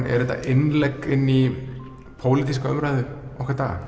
er þetta innlegg í pólitíska umræðu okkar daga